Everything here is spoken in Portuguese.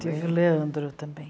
Tive o Leandro também.